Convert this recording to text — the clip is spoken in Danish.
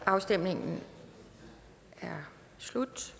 afstemningen er slut